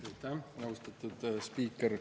Aitäh, austatud spiiker!